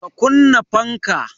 Ka kunna fanka!